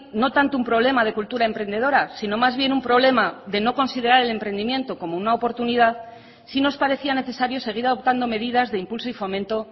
no tanto un problema de cultura emprendedora sino más bien un problema de no considerar el emprendimiento como una oportunidad sí nos parecía necesario seguir adoptando medidas de impulso y fomento